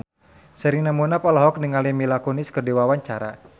Sherina Munaf olohok ningali Mila Kunis keur diwawancara